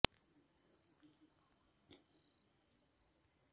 भंडारगडावर दहा खांबांचा एक हत्तीखाना असून येथे कायम थंडगार पाणी असते